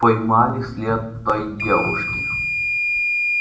поймали след той девушки